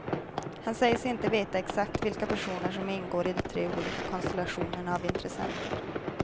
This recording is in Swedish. Han säger sig inte veta exakt vilka personer som ingår i de tre olika konstellationerna av intressenter.